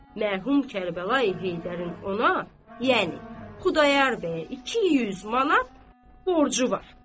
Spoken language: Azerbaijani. mərhum Kərbəlayı Heydərin ona, yəni, Xudayar bəyə 200 manat borcu var.